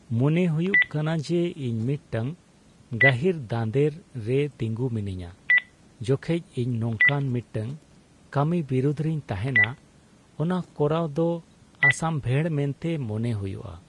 ᱢᱚᱱᱮ ᱦᱩᱭᱩᱜ ᱠᱟᱱᱟ ᱡᱮ ᱤᱧ ᱢᱤᱫᱴᱟᱝ ᱜᱟᱹᱦᱤᱨ ᱫᱟᱸᱫᱮᱨ ᱨᱮ ᱛᱤᱸᱜᱩ ᱢᱤᱱᱟᱹᱧᱟ ᱡᱚᱠᱷᱚᱡ ᱤᱧ ᱱᱚᱝᱠᱟᱱ ᱢᱤᱫᱴᱟᱝ ᱠᱟᱹᱢᱤ ᱵᱤᱨᱩᱫᱷ ᱨᱮᱧ ᱛᱟᱦᱮᱱᱟ ᱚᱱᱟ ᱠᱚᱨᱟᱣ ᱫᱚ ᱚᱥᱟᱢᱵᱷᱮᱲ ᱢᱮᱱᱛᱮ ᱢᱚᱱᱮ ᱦᱩᱭᱩᱜᱼᱟ ᱾